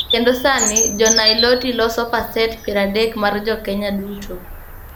Kendo sani Jo-Niloti loso pasent piero adek mar Jo-Kenya duto.